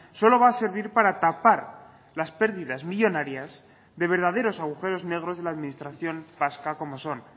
solo va a servir para tapar las pérdidas millónarias de verdaderos agujeros negros de la administración vasca como son